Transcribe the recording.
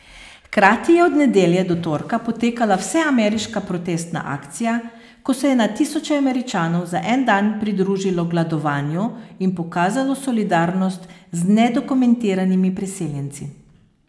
Hkrati je od nedelje do torka potekala vseameriška protestna akcija, ko se je na tisoče Američanov za en dan pridružilo gladovanju in pokazalo solidarnost z nedokumentiranimi priseljenci.